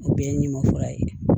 O bɛɛ ye ɲuman fura ye